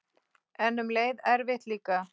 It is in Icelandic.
En um leið erfitt líka.